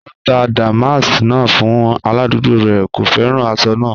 O tà dàmàsk náà fún aládùgbò rẹ, kò fẹ́ran àṣọ náà.